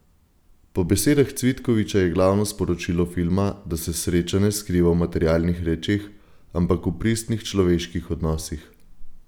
Po besedah Cvitkoviča je glavno sporočilo filma, da se sreča ne skriva v materialnih rečeh, ampak v pristnih človeških odnosih.